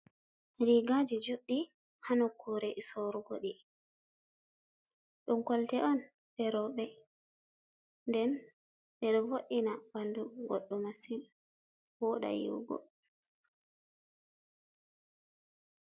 Rigaji juddi ha nokkure sorugo di dum kolte on be robe nden be do vodina bandu goddo masin woda yihugo.